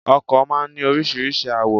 Ọkò máa n ní oríṣiríṣi àwò